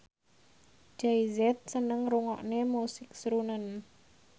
Jay Z seneng ngrungokne musik srunen